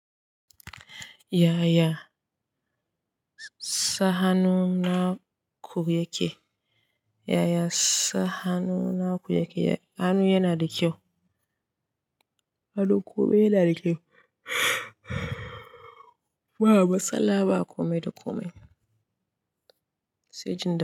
Yaya sa hannu naku yake? Yaya sa hannu naku yake? Hannu yana da kyau. Hannu kome yana da kyau. Ba matsala ba kome da kome sai jin da.